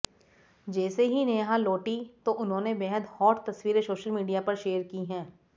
जैसे ही नेहा लौटी तो उन्होंने बेहद हॉट तस्वीरें सोशल मीडिया पर शेयर की हैं